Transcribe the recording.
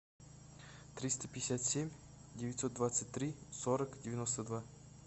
триста пятьдесят семь девятьсот двадцать три сорок девяносто два